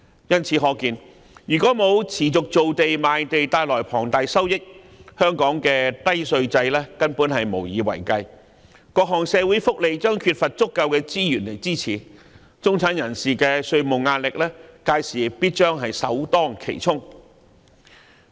由此可見，缺乏持續造地和賣地帶來的龐大收益，香港的低稅制根本無以為繼，各項社會福利將缺乏足夠的資源支持，中產人士的稅務壓力屆時勢必首當其衝。